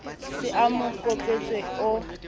se a mo kopetswe o